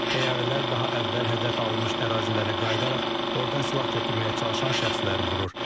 Təyyarələr daha əvvəl hədəf alınmış ərazilərə qayıdaraq oradan silah götürməyə çalışan şəxsləri vurur.